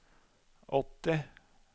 åtti